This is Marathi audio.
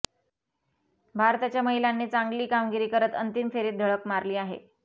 भारताच्या महिलांनी चांगली कामगिरी करत अंतिम फेरीत धडक मारली आहे